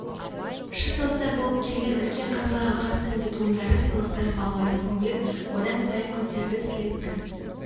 шын достар болып келген үлкен қазылар алқасының дипломдары сыйлықтары балалардың көңілін одан сайын көтерді слеттің